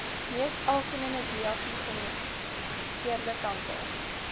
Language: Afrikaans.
mees algemeengediagnoseerde kanker